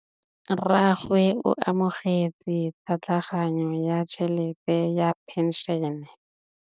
Rragwe o amogetse tlhatlhaganyô ya tšhelête ya phenšene.